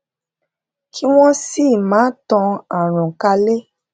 kí wón sì máa tan àrùn kálè